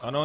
Ano.